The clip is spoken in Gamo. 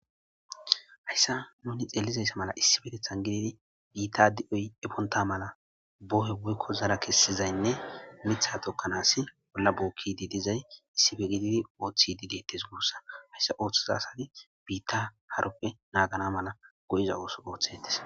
hayssa nuni xeellizayssa mala issi petethan gididi biitta di7oy eponta mala bohe woykko zara kessizaynne mitha tokkanaasi bolla buukkidi dizay issife gididi ooththidi deettes guussa hayssa ooththiza asadi biitta haroppe naagana mala go7iza ooso ooththetes